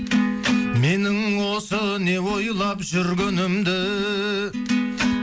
менің осы не ойлап жүргенімді